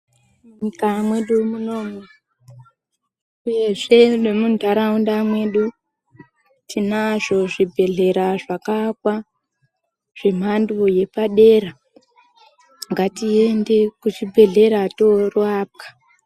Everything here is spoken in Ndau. Munyika mwedu munomwu uyezve nemuntaraunda mwedu, tinazvo zvibhedhlera zvakaakwa zvemhando yepadera. Ngatiende kuzvibhedhlera torapwa.